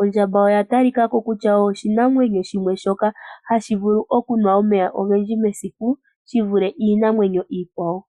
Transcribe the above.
Ondjamba oya talika ko kutya oshinamwenyo shimwe shoka hashi vulu okunwa omeya ogendji mesiku, shi vule iinamwenyo iikwawo.